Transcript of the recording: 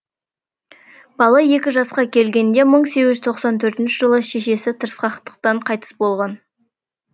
бала екі жасқа келгенде мың сегізжүз тоқсан төртінші жылы шешесі тырысқақтан қайтыс болған